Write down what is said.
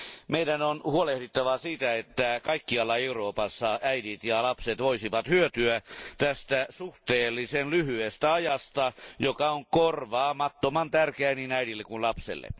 Meidän on huolehdittava siitä, että kaikkialla Euroopassa äidit ja lapset voisivat hyötyä tästä suhteellisen lyhyestä ajasta, joka on korvaamattoman tärkeä niin äidille kuin lapselle.